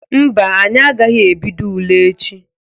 Mba, anyị agaghị ebido ule echi.